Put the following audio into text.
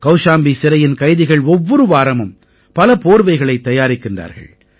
கௌஷாம்பி சிறையின் கைதிகள் ஒவ்வொரு வாரமும் பல போர்வைகளைத் தயாரிக்கிறார்கள்